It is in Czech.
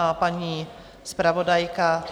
A paní zpravodajka?